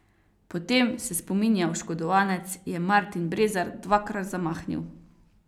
Potem, se spominja oškodovanec, je Martin Brezar dvakrat zamahnil.